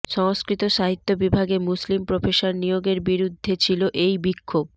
সংস্কৃত সাহিত্য বিভাগে মুসলিম প্রফেসর নিয়োগের বিরুদ্ধে ছিল এই বিক্ষোভ